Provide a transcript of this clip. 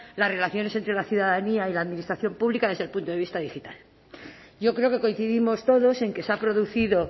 las relaciones entre la ciudadanía y la administración pública desde el punto de vista digital yo creo que coincidimos todos en que se ha producido